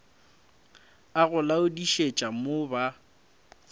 a go laodišetša mo ba